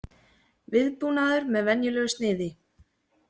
Viðbúnaður með venjulegu sniði